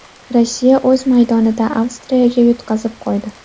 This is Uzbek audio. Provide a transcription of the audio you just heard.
Rossiya o‘z maydonida Avstriyaga yutqazib qo‘ydi.